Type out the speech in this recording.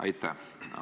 Aitäh!